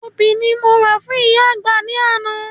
Obì ni mo rà fún ìyá àgbà ní àná